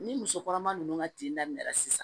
Ni muso kɔnɔma nunnu ka tin daminɛna sisan